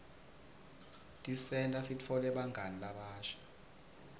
tisenta sitfole bangani labasha